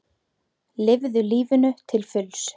Lifðu lífinu til fulls!